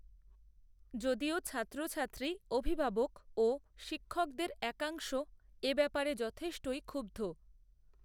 যদিওছাত্রছাত্রীঅভিভাবকও শিক্ষকদেরএকাংশএ ব্যাপারে যথেষ্টই ক্ষুব্ধ